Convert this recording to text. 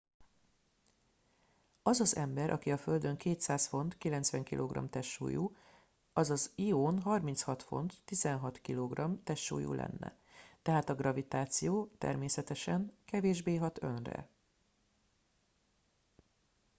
az az ember aki a földön 200 font 90 kg testsúlyú az az ión 36 font 16 kg testsúlyú lenne. tehát a gravitáció természetesen kevésbé hat önre